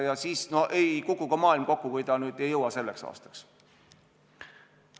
Ja ei kuku ka maailm kokku, kui selleks aastaks ei jõuta.